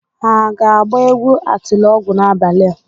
Ha ga-agba egwu atilọgwụ n'abalị a?